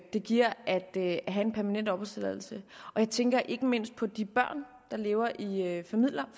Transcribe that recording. det giver at have en permanent opholdstilladelse jeg tænker ikke mindst på de børn der lever i